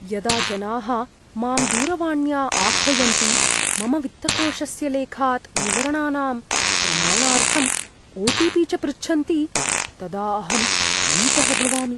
यदा जनाः माम् दूरवाण्या आह्वयन्ति मम वित्तकोषस्य लेखात् विवरणानां प्रमाणार्थम् ओटिपी च पृच्छन्ति तदा अहं भीतः भवामि।